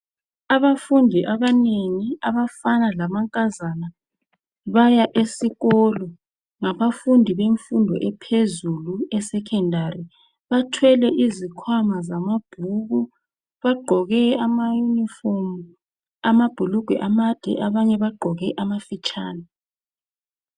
Abafundi abanengi abafana lamankazana baya esikolo, ngabafundi bemfundo ephezulu esekhendari, bathwele izikhwama zamabhuku. Bagqoke amayunifomu, amabhulugwe amade, abanye bagqoke amafitshane.